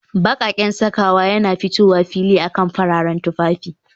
Baƙaƙen sakawa yana fitowa fili akan fararen tufafi